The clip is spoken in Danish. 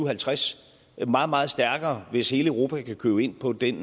og halvtreds det er meget meget stærkere hvis hele europa kan købe ind på den